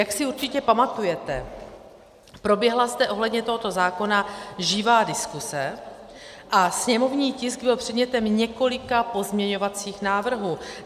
Jak si určitě pamatujete, proběhla zde ohledně tohoto zákona živá diskuze a sněmovní tisk byl předmětem několika pozměňovacích návrhů.